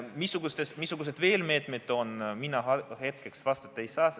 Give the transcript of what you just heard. Missuguseid meetmeid veel on, sellele mina hetkel vastata ei saa.